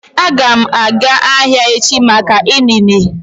Aga m aga ahịa echi maka inine